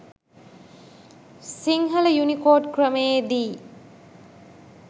සිංහල යුනිකෝඩි ක්‍රමයේදී